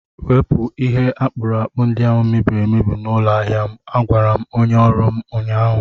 Wepụ ihe akpụrụakpụ ndị ahụ mebiri emebi n'ụlọ ahịa m! Agwara m onye ọrụ m ụnyaahụ.